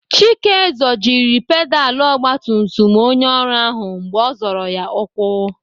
Chike zọjiri pedalụ ọgbatumtum onye ọrụ ahụ mgbe ọ zọrọ ya ukwu.